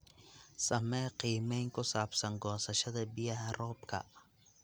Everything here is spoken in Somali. Samee qiimeyn ku saabsan goosashada biyaha roobka.